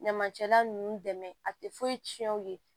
Ɲamacɛla ninnu dɛmɛ a tɛ foyi tiɲɛ u ye